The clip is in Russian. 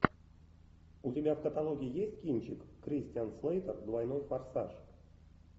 у тебя в каталоге есть кинчик кристиан слейтер двойной форсаж